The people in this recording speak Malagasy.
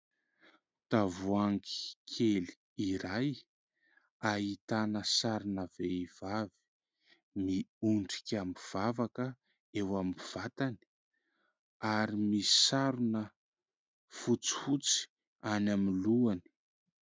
Tavoangy kely iray ahitana sarina vehivavy miondrika mivavaka eo amin'ny vatany. Ary misarona fotsy fotsy eny amin'ny lohany.